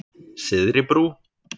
Syðri Brú